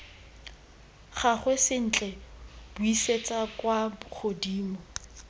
gagwe sentle buisetsa kwa godimo